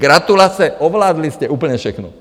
Gratulace, ovládli jste úplně všechno.